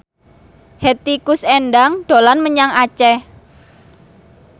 Hetty Koes Endang dolan menyang Aceh